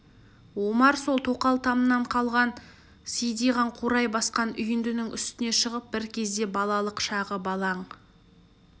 омар сол тоқал тамнан қалған сидиған қурай басқан үйіндінің үстіне шығып бір кезде балалық шағы балаң